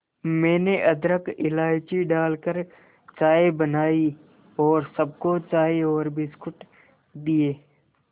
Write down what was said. मैंने अदरक इलायची डालकर चाय बनाई और सबको चाय और बिस्कुट दिए